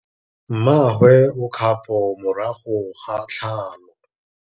Mmagwe o kgapô morago ga tlhalô.